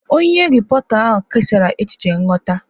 Onye repọrta ahụ kesara echiche nghọta.